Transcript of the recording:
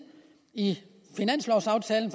i finanslovaftalen